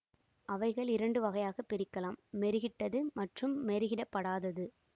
அவைகள் இரண்டு வகையாகப் பிரிக்கலாம் மெருகிட்டது மற்றும் மெருகிடப்படாதது